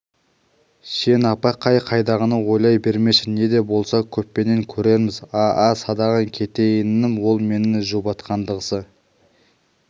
сен апа қай-қайдағыны ойлай бермеші не де болса көппенен көрерміз а-а садағаң кетейінім ол мені жұбатқандағысы